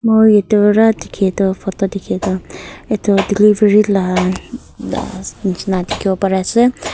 moi etu ra dikhia toh photo dikhia toh etu delivery laa laa nishena dikhibo pari ase.